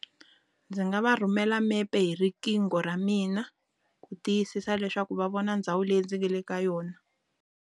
Ndzi nga va rhumela mepe hi riqingho ra mina, ku tiyisisa leswaku va vona ndhawu leyi ndzi nga le ka yona.